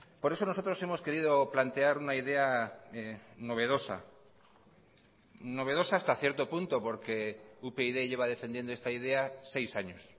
por eso nosotros hemos querido plantear una idea novedosa novedosa hasta cierto punto porque upyd lleva defendiendo esta idea seis años